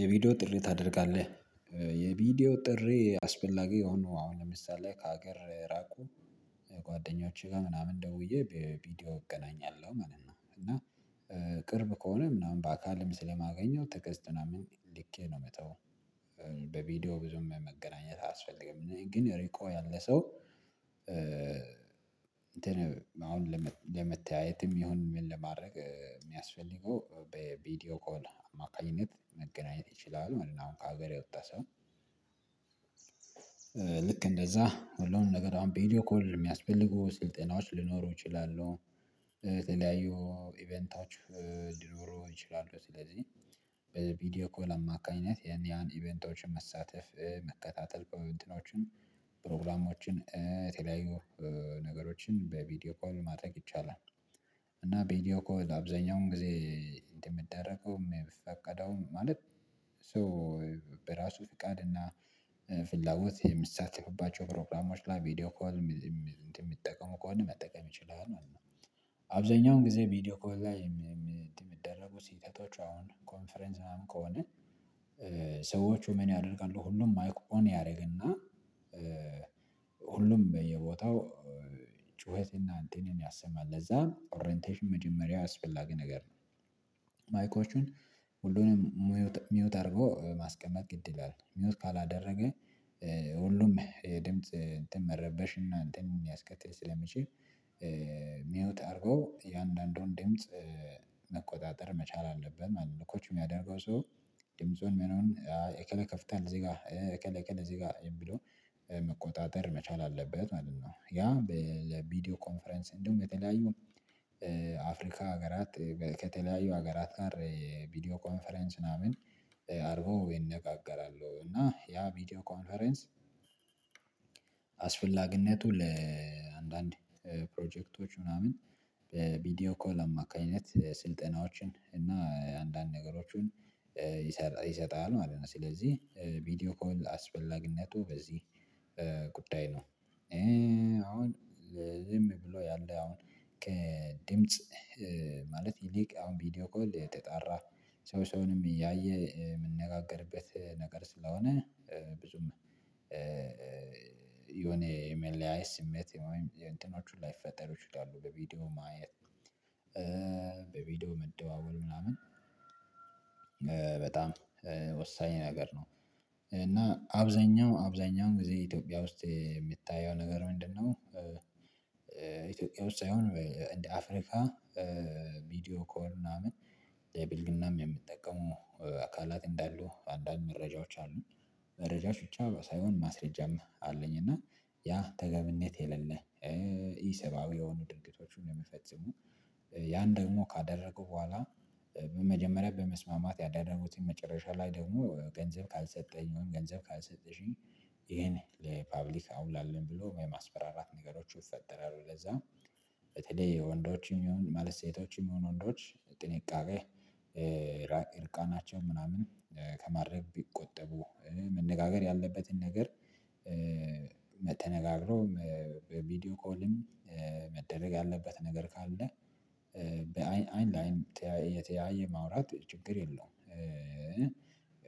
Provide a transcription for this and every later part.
የቪዲዮ ጥሪ ታደርጋለህ የቪዲዮ ጥሪ አስፈላጊ የሆኑ አሁን ለምሳሌ ከሀገር የራቁ ጓደኞቼ ጋር ምናምን ደውዬ በቪዲዮ እገናኛለሁ ማለት ነው። እና ቅርብ ከሆነ ምናምን በአካልም ስለማገኘው ቴክስት ምናምን ልኬ ነው። መተው በቪዲዮ ብዙም መገናኘት አያስፈልግም ግን ረቆ ያለ ሰው እንትን አሁን ለመተያየትም ይሁን ምን ለማድረግ የሚያስፈልገው በቪዲዮ ኮል አማካኝነት መገናኘት ይችላል ማለት ነው። አሁን ከሀገር የወጣ ሰው። ልክ እንደዛ ሁሉንም ነገር አሁን ቪዲዮ ኮል የሚያስፈልጉ ስልጠናዎች ሊኖሩ ይችላለሁ። የተለያዩ ኢቨንታዎች ሊኖሩ ይችላሉ። ስለዚህ በቪዲዮ ኮል አካይነት የኒያን ኢቨንቶችን መሳተፍ መከታተል እንትኖችን ፕሮግራሞችን ተለያዩ ነገሮችን በቪዲዮ ኮል ማድረግ ይቻላል። እና ቪዲዮ ኮል አብዛኛውን ጊዜ እንደሚደረገውም የሚፈቀደውም ማለት ሰው በራሱ ፍቃድ እና ፍላጎት የሚሳተፍባቸው ፕሮግራሞች ላይ ቪዲዮ ኮል እንትን የሚጠቀሙ ከሆነ መጠቀም ይችላል ማለት ነው። አብዛኛውን ጊዜ ቪዲዮ ኮል ላይ እንትን የሚደረጉ ሲተተው አሁን ኮንፈረንስ ምናምን ከሆነ። ሰዎቹ ምን ያደርጋሉ ሁሉም ማይክ ኦን ያደርግና ሁሉም በየቦታው ጩኸት እና እንትንን ያሰማል ለዛ ኦረንቴሽን መጀመሪያ አስፈላጊ ነገር ነው። ማይኮቹን ሁሉንም ሚውት አድርጎው ማስቀመጥ ግድ ይላል ሚውት ካላደረገ። ሁሉም ድምጽ እንትን መረበሽ እና እንትን ሊያስከትል ስለሚችል። ሚውት አድርጎ እያንዳንዱን ድምጽ መቆጣጠር መቻል አለብን ማለት ነው። ኮች የሚያደርገው ሰው ድምፁን ምኑን እከለ ይከፍታል እዚህ ጋር እከለ እከለ እዚህ ጋር የሚለው መቆጣጠር መቻል አለበት ማለት ነው። ያ ለቪዲዮ ኮንፈረንስ እንዲሁም የተለያዩ አፍሪካ ሀገራት ከተለያዩ ሀገራት ጋር ቪዲዮ ኮንፈረንስ ምናምን አርጎው ይነጋገራሉ እና ያ ቪዲዮ ኮንፈረንስ። አስፈላጊነቱ ለአንዳንድ ፕሮጀክቶች ምናምን በቪዲዮ ኮል አማካኝነት ስልጠናዎችን እና አንዳንድ ነገሮችን ይሰጣል ማለት ነው። ስለዚህ ቪዲዮ ኮል አስፈላጊነቱ በዚህ ጉዳይ ነው። አሁን ዝም ብሎ ያለ አሁን ከድምጽ ማለት ይልቅ አሁን ቪዲዮ ኮል ተጣራ ሰው ሰውንም እያየ የሚነጋገርበት ነገር ስለሆነ። ብዙም የሆነ የመለያየት ስሜት ወይም የእንትኖች ላይፈጠሩ ይችላሉ። በቪዲዮ ማየት በቪዲዮ መደዋወል ምናምን በጣም ወሳኝ ነገር ነው። እና አብዛኛው አብዛኛውን ጊዜ ኢትዮጵያ ውስጥ የሚታየው ነገር ምንድነው? ኢትዮጵያ ውስጥ ሳይሆን እንደ አፍሪካ ቪዲዮ ኮል ምናምን ለብልግናም የሚጠቀሙ አካላት እንዳሉ አንዳንድ መረጃዎች አሉ። መረጃች ብቻ ሳይሆን ማስረጃም አለኝ እና ያ ተገብነት የሌለ። ኢሰባዊ የሆኑ ድርጊቶችን የሚፈጽሙ ያን ደግሞ ካደረጉ በኋላ መጀመሪያ በመስማማት ያደረጉትን መጨረሻ ላይ ደግሞ ገንዘብ ካልሰጠኝ ወይም ገንዘብ ካልሰጠሽኝ ይሄን ለፐብሊክ አውላለን ብሎ የማስፈራራት ነገሮች ይፈጠራሉ። ለዛ በተለይ ወንዶችን የሚሆኑ ማለትም ሴቶችም ይሁኑ ወንዶች ጥንቃቄ እርቃናቸውን ምናምን ከማድረግ ቢቆጠቡ መነጋገር ያለበትን ነገር። ተነጋገሮ ቪዲዮ ኮልም መደረግ ያለበት ነገር ካለ። በአይን አይን ለአይን እየተያዩ ማውራት ችግር የለውም።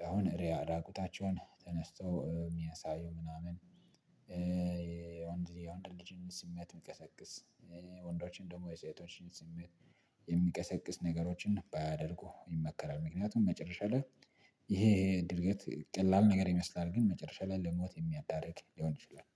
አሁን ራቁታቸውን ተነስተው የሚያሳዩ ምናምን ወንድ የወንድ ልጅን ስሜት የሚቀሰቅስ ወንዶችን ደግሞ የሴቶችን ስሜት የሚቀሰቅስ ነገሮችን ባያደርጉ ይመከራል። ምክንያቱም መጨረሻ ላይ ይሄ ድርጊት ቀላል ነገር ይመስላል ግን መጨረሻ ላይ ለሞት የሚያዳርግ ሊሆን ይችላል።